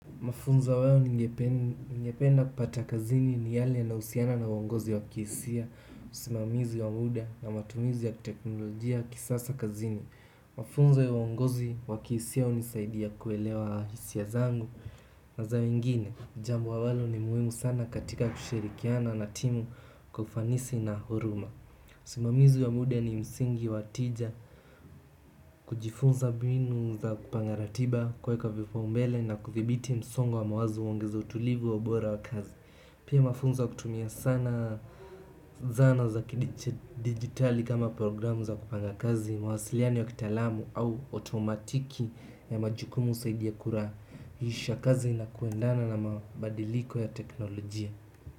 Mafunzo wao ningependa kupata kazini ni yale yanahusiana na uongozi wa kihisia, usimamizi wa muda na matumizi ya teknolojia kisasa kazini. Mafunza ya uongozi wa kihisia hunisaidia kuelewa hisia zangu na za wengine, jambo ambalo ni muhimu sana katika kushirikiana na timu kwa ufanisi na huruma. Usimamizi wa muda ni msingi wa tija kujifunza mbinu za kupanga ratiba kuweka vipaumbele na kuthibiti msongo wa mawazo huongeza utulivu wa ubora wa kazi pia mafunzo kutumia sana zana za kidiji digitali kama programu za kupanga kazi mawasiliano ya kitaalamu au otomatiki ya majukumu zaidi ya kura hisha kazi na kuendana na mabadiliko ya teknolojia.